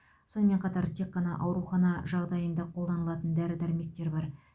сонымен қатар тек қана аурухана жағдайында қолданылатын дәрі дәрмектер бар